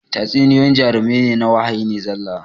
Tatsuniyoyyin jarumai na wahayi ne zalla